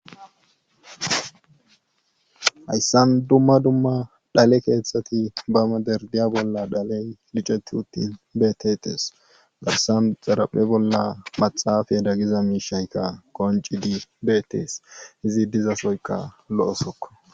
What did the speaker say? Hayssan dumma dumma dhale keethati ba madarddare booladhaley micatti utti beeteetes hayssan xaraphe bolla maxaafera giza miishayka qonccidi beettees izi dizaysoykka lo7o sookko.